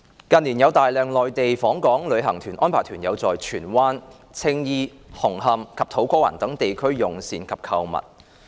近年有大量內地訪港旅行團安排團友在荃灣、青衣、紅磡和土瓜灣等地區用膳及購物。